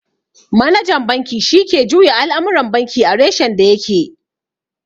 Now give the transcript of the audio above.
Manajan banki shi ke juya al'amuran banki a reshen da ya ke